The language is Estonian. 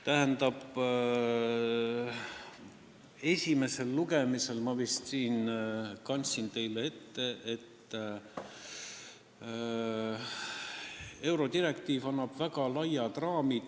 Tähendab, esimesel lugemisel ma vist kandsin teile ette, et eurodirektiiv annab väga laiad raamid.